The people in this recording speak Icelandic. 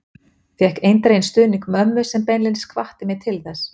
Fékk eindreginn stuðning mömmu sem beinlínis hvatti mig til þess.